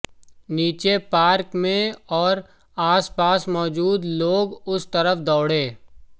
नीचे पार्क में और आसपास मौजूद लोग उस तरफ दौड़े